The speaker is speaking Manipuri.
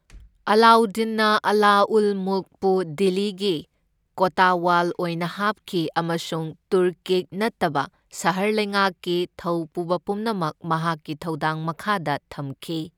ꯑꯂꯥꯎꯗꯗꯤꯟꯅ ꯑꯂꯥ ꯎꯜ ꯃꯨꯜꯛꯄꯨ ꯗꯤꯜꯂꯤꯒꯤ ꯀꯣꯇꯋꯥꯜ ꯑꯣꯏꯅ ꯍꯥꯞꯈꯤ, ꯑꯃꯁꯨꯡ ꯇꯨꯔꯀꯤꯛ ꯅꯠꯇꯕ ꯁꯍꯔ ꯂꯩꯉꯥꯛꯀꯤ ꯊꯧꯄꯨꯕ ꯄꯨꯝꯅꯃꯛ ꯃꯍꯥꯛꯀꯤ ꯊꯧꯗꯥꯡ ꯃꯈꯥꯗ ꯊꯝꯈꯤ꯫